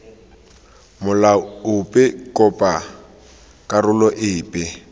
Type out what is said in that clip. molao ope kopa karolo epe